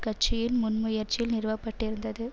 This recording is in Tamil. கட்சியின் முன்முயற்சியில் நிறுவப்பட்டிருந்தது